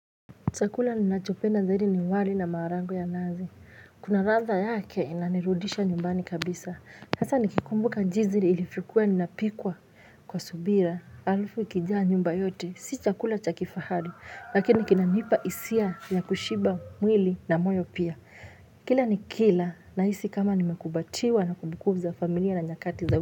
Chakula ninachopenda zaidi ni wali na maharage ya nazi. Kuna ladha yake inanirudisha nyumbani kabisa. Hasa nikikumbuka jinsi ilivyo kuwa inapikwa kwa subira. Alafu ikijaa nyumba yote. Si chakula cha kifahari. Lakini kinanipa hisia ya kushiba mwili na moyo pia. Kila ni kila nahisi kama nimekumbatiwa na kumbukumbu za familia na nyakati za.